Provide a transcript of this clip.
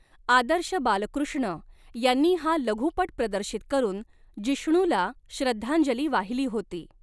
आदर्श बालकृष्ण यांनी हा लघुपट प्रदर्शित करून जिष्णुला श्रद्धांजली वाहिली होती.